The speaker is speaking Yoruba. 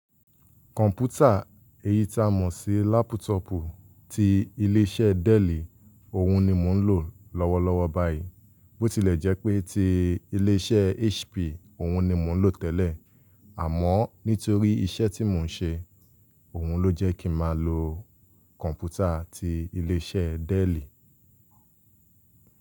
Kọ̀ǹpútà, èyí ta mọ̀ sí laptop ti ilé iṣẹ́ Dell, òhun ni mo ń lò lọ́wọ́lọ́wọ́ báyìí. Bó ti lè jẹ́ pé ti ilé iṣẹ́ HP, òhun ni mo lò tẹ́lẹ̀. Àmọ́ nítorí iṣẹ́ tí mò ń ṣe, òun ló jẹ́ kí mà lọ kọ̀ǹpútà ti ilé iṣẹ́ Dell.